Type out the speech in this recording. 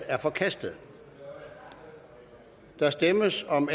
er forkastet der stemmes om